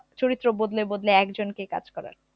চরিত্র বদলে বদলে একজনকে কাজ করার